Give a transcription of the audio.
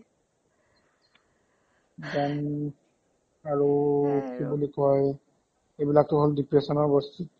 then আৰু কি বুলি কই সিবিলাকতো হ'ল depression ৰ words